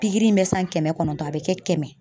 Pikiri in bɛ san kɛmɛ kɔnɔntɔn a bɛ kɛ kɛmɛ.